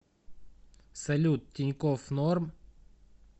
салют тинькофф норм